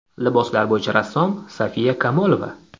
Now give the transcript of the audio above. Liboslar bo‘yicha rassom Sofiya Kamolova.